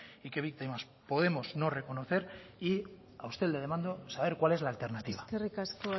y qué víctimas podemos no reconocer y a usted le demando saber cuál es la alternativa eskerrik asko